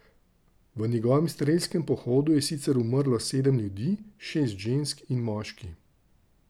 V njegovem strelskem pohodu je sicer umrlo sedem ljudi, šest žensk in moški.